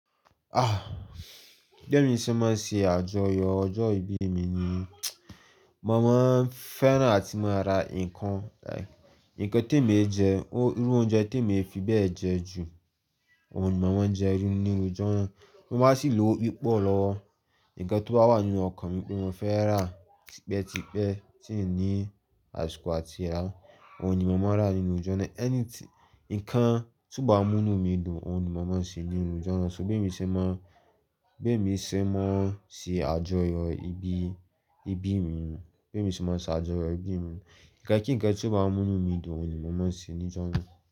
Ah! Bémi ṣe máa ń ṣe àjọyọ̀ ọjọ́ ìbí mi ni mo máa ń fẹ́ràn àti máa ra nǹkan like, nǹkan tí èmi ń jẹ, irú oúnjẹ tí èmi fi bẹ́ẹ̀ jẹ jù àwọn òhun ni mo máa ń jẹ irú nínu ọjoojúmọ́. Bí mo bá sì lówó pípọ̀ lọ́wọ́. Nǹkan tó bá wà nínú ọkàn mi pé mo fẹ́ rà tipẹ́tipẹ́ tíìní àsìkò àti ràá, òun ni mo máa rà nínú ọjọ́ náà. Anything, nǹkan tí ó bá mú inú mi dùn, òun ni mò ún ṣe nínú ọjọ́ náà. So bémi ṣe máa ń, bémi ṣe máa ń ṣe àjọyọ̀ ìbí, ìbí mi ni, bémi ṣe máa ń ṣe àjọyọ̀ ìbí mi ni, nǹkan kíǹkan tí ó bá mú inú mi dùn ni mo máa ṣe ní'jọ́ náà.